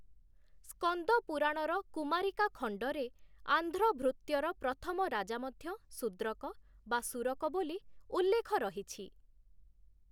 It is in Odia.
ସ୍କନ୍ଦପୁରାଣର କୁମାରିକା ଖଣ୍ଡରେ, ଆନ୍ଧ୍ର-ଭୃତ୍ୟର ପ୍ରଥମ ରାଜା ମଧ୍ୟ ଶୂଦ୍ରକ ବା ସୁରକ ବୋଲି ଉଲ୍ଲେଖ ରହିଛି ।